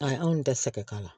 Ayi anw tɛ se ka k'a la